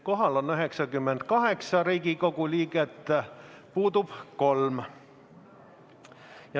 Kohal on 98 Riigikogu liiget ja puudub 3.